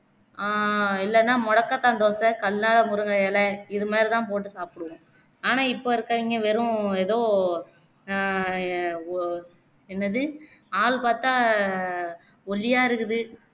ஆஹ் இல்லன்னா மொடக்கத்தான் தோசை, கல்லார முருங்கை இலை இதுமாதிரி தான் போட்டு சாப்பிடுவோம் ஆனா இப்போ இருக்கவங்கே வெறும் எதோ ஆஹ் ஒ என்னது ஆள் பாத்தா ஒள்ளியா இருக்குது